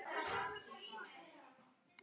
Er ég ekki kristinn?